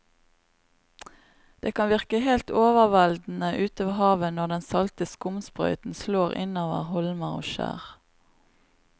Det kan virke helt overveldende ute ved havet når den salte skumsprøyten slår innover holmer og skjær.